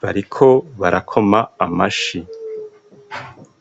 bariko barakoma amashi.